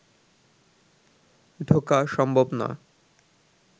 ঢোকা সম্ভব না